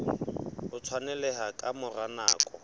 o tshwaneleha ka mora nako